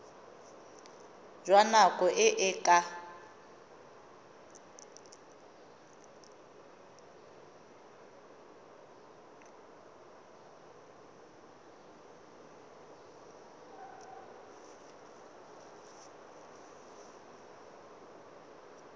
jwa nako e e ka